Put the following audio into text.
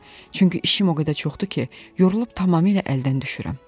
Çünki işim o qədər çoxdur ki, yorulub tamamilə əldən düşürəm.